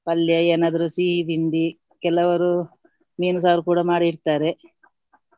ಪಲ್ಯ ಏನಾದ್ರು ಸಿಹಿ ತಿಂಡಿ ಕೆಲವರು ಮೀನು ಸಾರು ಕೂಡ ಮಾಡಿ ಇಡ್ತಾರೆ.